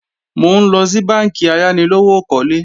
Mò ńlọ sí bánkì ayánilówókọ́lé